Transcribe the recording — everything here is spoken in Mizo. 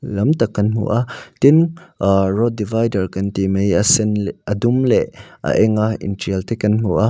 lam tak kan hmu a tin ahh road divider kan tih mai a sen leh a dum leh a eng a in tial te kan hmu a.